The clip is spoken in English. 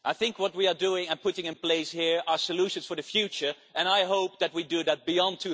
What we are doing and putting in place here are solutions for the future and I hope that we do that beyond